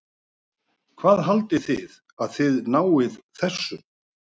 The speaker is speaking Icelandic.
Hvað haldið þið að þið náið þessu?